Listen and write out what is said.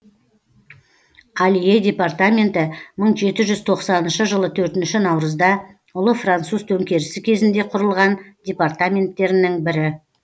алье департаменті мың жеті жүз тоқсаныншы жылы төртінші наурызда ұлы француз төңкерісі кезінде құрылған департаменттерінің бірі